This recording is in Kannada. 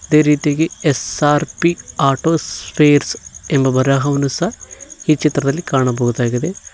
ಇದೇ ರೀತಿಯಾಗಿ ಎಸ್_ಆರ್_ಪಿ ಆಟೋ ಸ್ಫೇರ್ಸ್ ಎಂಬ ಬರಹವನ್ನು ಸಹ ಈ ಚಿತ್ರದಲ್ಲಿ ಕಾಣಬಹುದಾಗಿದೆ.